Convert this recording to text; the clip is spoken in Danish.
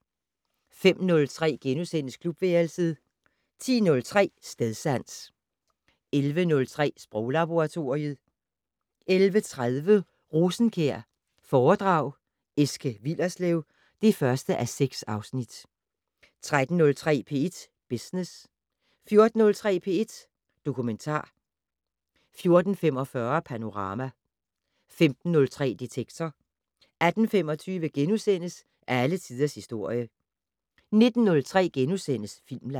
05:03: Klubværelset * 10:03: Stedsans 11:03: Sproglaboratoriet 11:30: Rosenkjær foredrag Eske Willerslev (1:6) 13:03: P1 Business 14:03: P1 Dokumentar 14:45: Panorama 15:03: Detektor 18:25: Alle tiders historie * 19:03: Filmland *